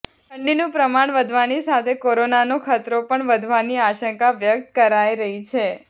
ઠંડીનું પ્રમાણ વધવાની સાથે કોરોનાનો ખતરો પણ વધવાની આશંકા વ્યક્ત કરાઈ રહી છે